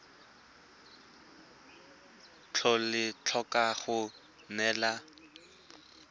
tlhole ba tlhoka go neelana